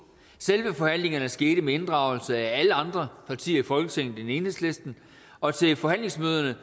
selve forhandlingerne skete med inddragelse af alle andre partier i folketinget end enhedslisten og til forhandlingsmøderne